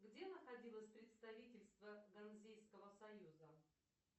где находилось представительство ганзейского союза